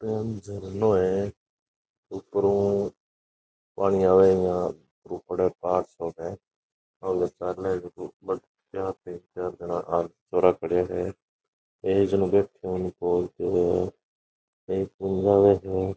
ओ अन झरनो है उपरो पानी आवे है यहाँ छोरा खड़्या है एक जनो बैठयो है --